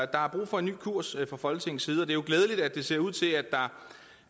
der er brug for en ny kurs fra folketingets side og det er jo glædeligt at det ser ud til at der